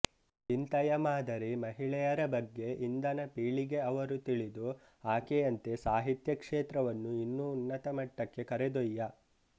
ಇಂತಯ ಮಾದರಿ ಮಹಿಳೆಯರ ಬಗ್ಗೆ ಇಂದನ ಪೀಳಿಗೆ ಅವರು ತಿಳಿದು ಆಕೆಯಂತೆ ಸಾಹಿತ್ಯ ಕ್ಷೇತ್ರವನ್ನು ಇನ್ನು ಉನ್ನತ ಮಟ್ಟಕ್ಕೆ ಕರೆದೊಯ್ಯ